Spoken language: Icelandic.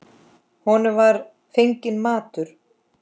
Honum var fenginn matur.